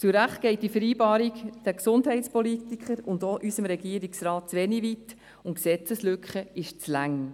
Zu Recht geht diese Vereinbarung den Gesundheitspolitikern und auch unserem Regierungsrat zu wenig weit, und die Gesetzeslücke dauert zu lange.